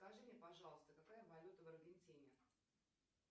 скажи мне пожалуйста какая валюта в аргентине